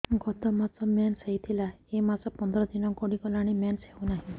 ଗତ ମାସ ମେନ୍ସ ହେଇଥିଲା ଏ ମାସ ପନ୍ଦର ଦିନ ଗଡିଗଲାଣି ମେନ୍ସ ହେଉନାହିଁ